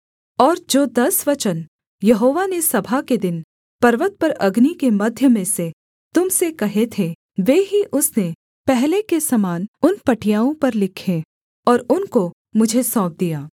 और जो दस वचन यहोवा ने सभा के दिन पर्वत पर अग्नि के मध्य में से तुम से कहे थे वे ही उसने पहले के समान उन पटियाओं पर लिखे और उनको मुझे सौंप दिया